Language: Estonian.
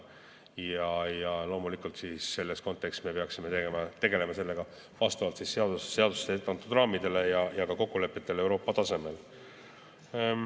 Aga loomulikult me peaksime praeguses kontekstis tegelema sellega vastavalt seaduses ette antud raamidele ja ka kokkulepetele Euroopa tasemel.